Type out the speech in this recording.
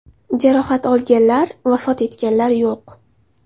Jarohat olganlar, vafot etganlar yo‘q.